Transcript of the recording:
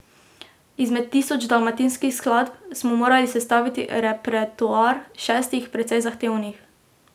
Izmed tisoč dalmatinskih skladb smo morali sestaviti repertoar šestih, precej zahtevnih.